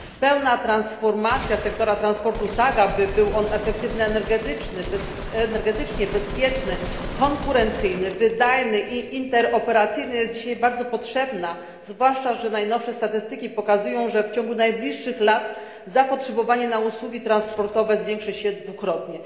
Pełna transformacja sektora transportu, tak aby był on efektywny energetycznie, bezpieczny, konkurencyjny, wydajny i interoperacyjny, jest dzisiaj bardzo potrzebna, zwłaszcza że najnowsze statystyki pokazują, że w ciągu najbliższych lat zapotrzebowanie na usługi transportowe zwiększy się dwukrotnie.